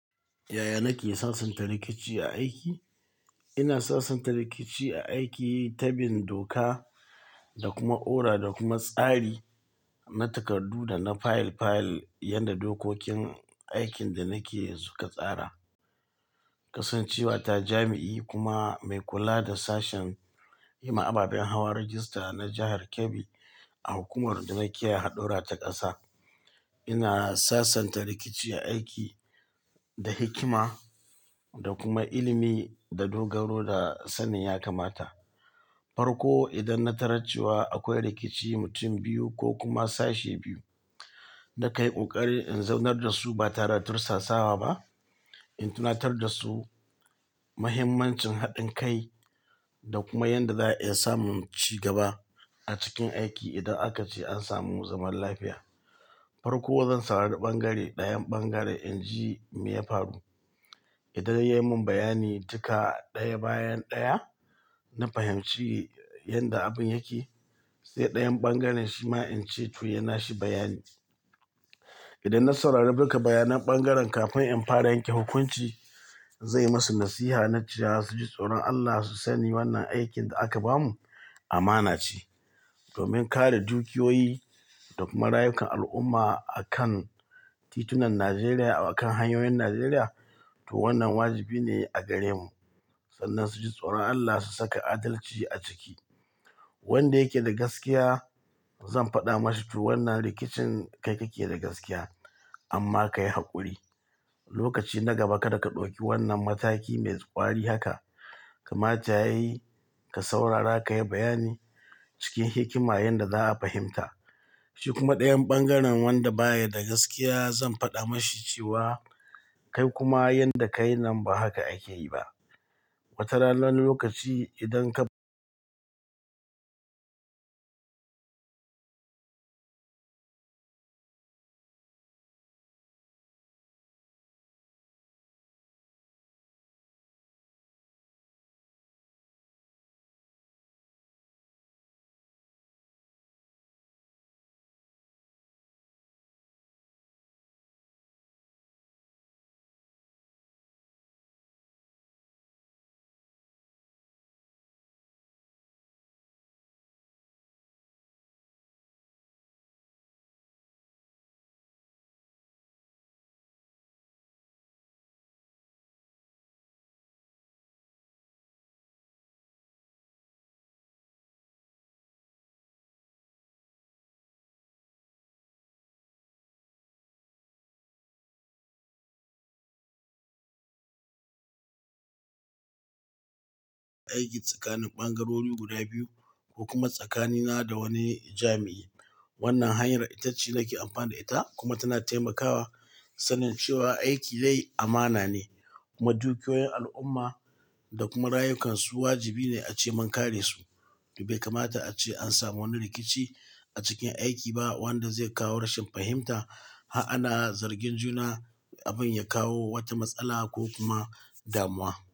Yaya nake sasanta rikici a aiki? Ina sasanta rikici a aiki ta bin doka da kuma ora da kuma tsari na takardu da na fayil fayil, yadda dokokin aikin da nake suka tsara. Kasancewa ta jami'i kuma mai kula da sashen yi ma ababen hawa rajista na jahar Kebbi a hukumar da nake hadura ta ƙasa. Ina sasanta rikici a aiki da hikima da kuma ilimi da dogaro da sannun ya kamata. Farko idan na tararcewa akwai rikici mutum biyu ko kuma sashi biyu, na kan ƙoƙari in zaunar da su ba tare da tursasawa ba. In tunatar da su mahimmancin haɗin kai da kuma yanda za'a iya samun cigaba a cikin aiki idan aka ce an samu zaman lafiya. Farko zan saurari ɓangare ɗayan ɓangare in ji me ya faru. Idan ya yi mun bayani duka ɗaya bayan ɗaya, na fahimci yadda abin yake. Sai ɗayan ɓangaren shi ma in ce to yaui na shi bayani. Idan na saurari duka bayanan ɓangaren kafin in fara yanke hukunci, zan yi masu nasiha na cewa su ji tsoron Allah su sani wannan aikin da aka bamu amana ce. Domin kare dukiyoyi da kuma rayukan al'umma akan titunan Najeriya, akan hanyoyin Najeriya. To wannan wajibi ne a gare mu sannan su ji tsoron Allah su saka adalci a ciki. Wanda yake da gaskiya zan faɗa masa to wannan rikicin kai ka ke da gaskiya amma ka yi haƙuri. Lokaci na gaba kada ka ɗauki wannan mataki mai ƙwari haka. Kamata yayi ka saurara ka yi bayani cikin hikima yanda za'a fahimta. Shi kuma ɗayan ɓangaren wanda baya da gaskiya zan faɗa mashi cewa kai kuma yanda ka yi nan ba haka akeyi ba. Wata ranar lokaci idan ka aiki tsakanin ɓangarori guda biyu ko kuma tsakanina da wani jami'i. Wannan hanyar itace nake amfani da ita kuma tana taimakawa sanin cewa aiki dai amana ne kuma dukiyoyin al'umma da kuma rayukansu wajibi ne ace mun kare su. To bai kamata ace an samu wani rikici a cikin aiki ba wanda zai kawo rashin fahimta, ha'ana, zargin juna, abin ya kawo wata matsala ko kuma damuwa.